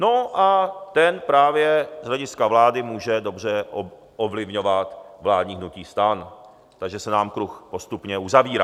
No a ten právě z hlediska vlády může dobře ovlivňovat vládní hnutí STAN, takže se nám kruh postupně uzavírá.